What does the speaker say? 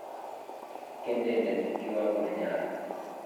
Kendenden kiwango ne nyolu.